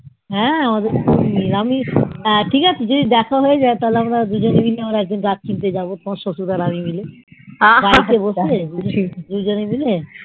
হ্যাঁ আমাদের খুব মিল ঠিক আছে হয় যাই গাছ কিনতে যাবো দুজনে মিলে তোমার শশুর মশাই আর আমি মিলে দুজনে মিলে